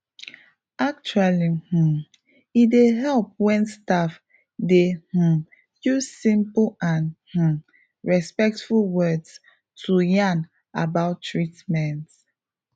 actually um e dey help wen staff dey um use simple and um respectful words to yarn about treatments